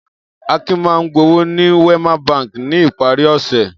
Akin máa ń gbowó ní Wema Bank ní ìparí ọ̀sẹ̀.